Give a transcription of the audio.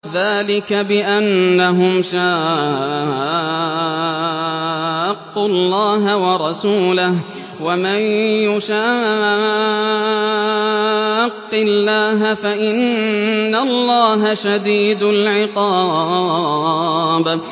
ذَٰلِكَ بِأَنَّهُمْ شَاقُّوا اللَّهَ وَرَسُولَهُ ۖ وَمَن يُشَاقِّ اللَّهَ فَإِنَّ اللَّهَ شَدِيدُ الْعِقَابِ